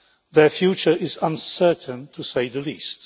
Their future is uncertain, to say the least.